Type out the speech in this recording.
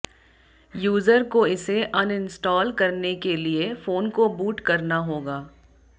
user को इसे uninstall करने के लिए फोन को बूट करना होगा